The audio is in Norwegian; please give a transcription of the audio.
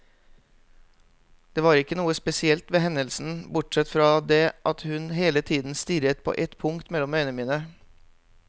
Det var ikke noe spesielt ved hendelsen, bortsett fra det at hun hele tiden stirret på et punkt mellom øynene mine.